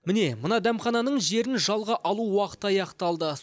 міне мына дәмхананың жерін жалға алу уақыты аяқталды